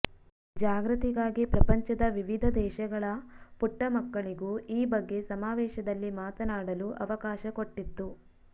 ಜಾಗೃತಿಗಾಗಿ ಪ್ರಪಂಚದ ವಿವಿಧ ದೇಶಗಳ ಪುಟ್ಟ ಮಕ್ಕಳಿಗೂ ಈ ಬಗ್ಗೆ ಸಮಾವೇಶದಲ್ಲಿ ಮಾತನಾಡಲು ಅವಕಾಶ ಕೊಟ್ಟಿತ್ತು